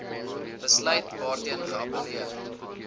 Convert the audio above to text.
besluit waarteen geappelleer